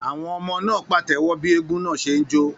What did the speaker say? Àwọn ọmọ náà pàtẹ́wọ́ bí eégún náà ṣe ń jó.